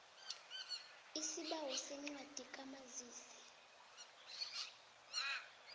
isibawo sencwadi kamazisi